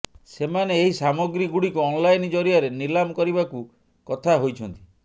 ସେମାନେ ଏହି ସାମଗ୍ରୀଗୁଡ଼ିକୁ ଅନଲାଇନ୍ ଜରିଆରେ ନିଲାମ କରିବାକୁ କଥା ହୋଇଛନ୍ତି